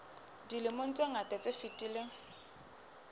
dilemong tse ngata tse fetileng